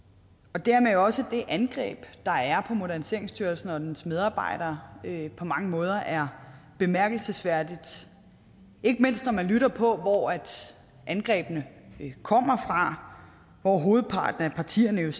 og dermed også det angreb der er på moderniseringsstyrelsen og dens medarbejdere på mange måder er bemærkelsesværdigt ikke mindst når man lytter på hvor angrebene kommer fra for hovedparten af partierne